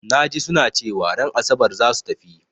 Na ji su na cewa ran Asabar za su tafi.